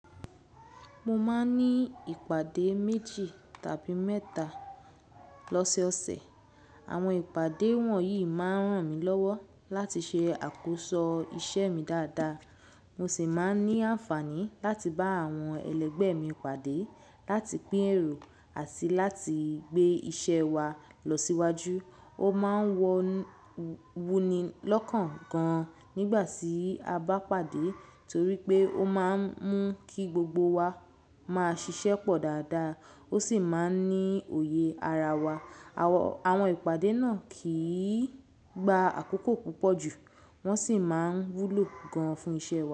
Mo máa ń ní ìpàdé méjì tàbí mẹ́ta lọ́sọ́ọ̀sẹ̀. Àwọn ìpàdé wọ̀nyí máa ń ràn mí lọ́wọ́ láti ṣe àkóso iṣẹ́ mi dáadáa. Mo sì máa ń ní àǹfààní láti bá àwọn ẹlẹgbẹ́ mi pàdé, láti pín èrò àti láti gbé iṣẹ́ wa lọ síwájú. Ó máa ń wuni lọ́kàn gan-an nígbà tí a bá pàdé torí pé ó máa ń mú kí gbogbo wa máa ṣiṣẹ́ pọ̀ dáadáa, ó sì máa ń ní òye ara wa. Àwọn ìpàdé náà kì í gba àkókò púpọ̀ jù, wọ́n sì máa ń wúlò gan-an fún iṣẹ́ wa.